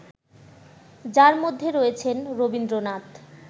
যার মধ্যে রয়েছেন রবীন্দ্রনাথ